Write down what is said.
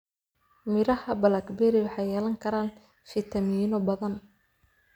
Midhaha blackberry waxay yeelan karaan fiitamiinno badan.